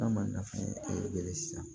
N'a ma nafa sisan